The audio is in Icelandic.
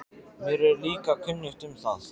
Mér er líka kunnugt um það.